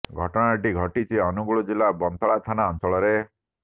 ଘଟଣା ଟି ଘଟିଛି ଅନୁଗୁଳ ଜିଲ୍ଲା ବନ୍ତଳା ଥାନା ଅଞ୍ଚଳରେ